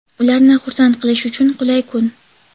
ularni "xursand" qilish uchun qulay kun).